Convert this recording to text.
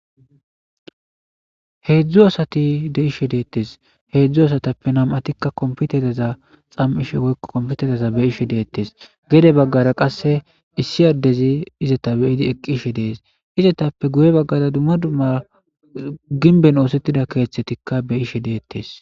Hedzdzu asati de'ishe detes, hedzdzu asatappe nam'atika kompitereza xam'ishe woyko kompitereza beyishe detes, gede bagara qase izeta beyid eqishe des, izetappeka guye bagara dumma dumma gimben osetida kethataka beyishe detes